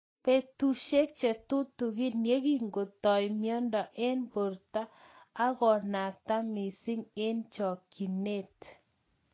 Betushek chetutikin yekingotoi mnyendo eng borto ako nakta missing eng chokyinet.